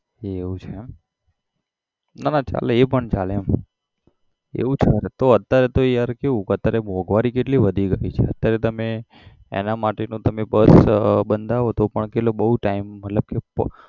એવું છે એમ ના ના ચાલે એ પણ ચાલે એમ એવું છે તો અત્યારે તો યાર કેવું કે અત્યારે તો મોંઘવારી કેટલી વધી ગયેલી છે અત્યારે તમે એના માટે નો તમે bus બંધાવો તો પણ કેટલો બહુ time મતલબ કે